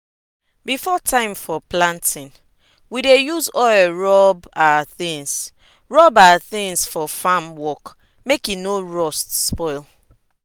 before time for planting we dey use oil rub our tins rub our tins for farm work make e no rust spoil